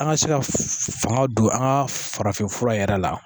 An ka se ka fanga don an ka farafin fura yɛrɛ la